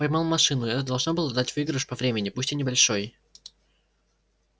поймал машину это должно было дать выигрыш по времени пусть и небольшой